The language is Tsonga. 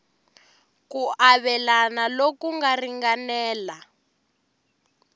ku avelana loku nga ringanela